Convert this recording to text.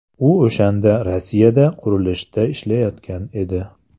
U o‘shanda Rossiyada qurilishda ishlayotgan edi.